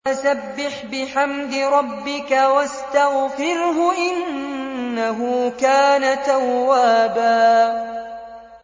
فَسَبِّحْ بِحَمْدِ رَبِّكَ وَاسْتَغْفِرْهُ ۚ إِنَّهُ كَانَ تَوَّابًا